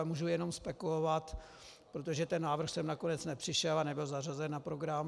Ale můžu jenom spekulovat, protože ten návrh sem nakonec nepřišel a nebyl zařazen na program.